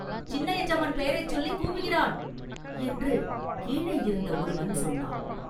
சின்ன எஜமான் பெயரைச் சொல்லிக் கூவுகிறான்!” என்று கீழேயிருந்த ஒருவன் சொன்னான்.